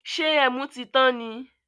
Ṣé ẹmu tí tán ni?